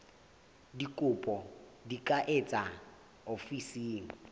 dikopo di ka etswa ofising